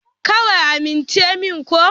Kawai amince min ko?